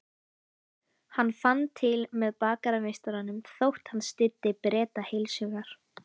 Hann fann til með bakarameistaranum þótt hann styddi Breta heilshugar.